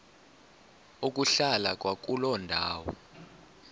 ukuhlala kwakuloo ndawo